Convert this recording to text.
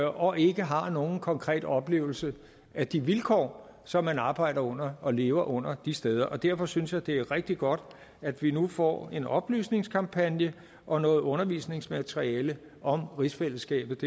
og ikke har nogen konkret oplevelse af de vilkår som man arbejder under og lever under de steder og derfor synes jeg det er rigtig godt at vi nu får en oplysningskampagne og noget undervisningsmateriale om rigsfællesskabet